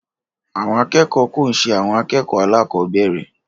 Àwọn akẹ́kọ̀ọ́ ko n ṣe àwọn akẹ́kọ̀ọ́ alakobere.